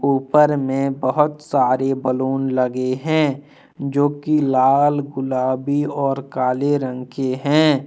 ऊपर में बहुत सारे बलून लगे है जो की लाल गुलाबी और काले रंग की है।